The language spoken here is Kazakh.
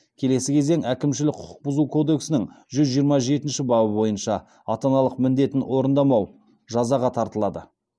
келесі кезең әкімшілік құқық бұзу кодексінің жүз жиырма жетінші бабы бойынша жазаға тартылады